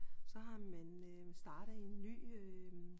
Så man øh startet en ny øh